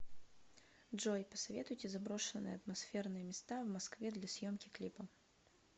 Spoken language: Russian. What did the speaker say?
джой посоветуйте заброшенные атмосферные места в москве для съемки клипа